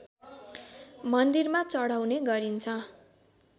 मन्दिरमा चढाउने गरिन्छ